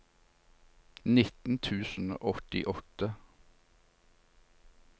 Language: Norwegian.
nitten tusen og åttiåtte